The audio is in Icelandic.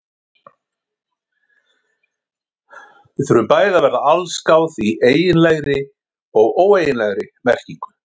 Við þurfum bæði að verða allsgáð í eiginlegri og óeiginlegri merkingu.